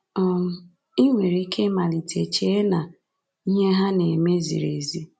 um I nwere ike ịmalite chee na ihe ha na-eme ziri ezi.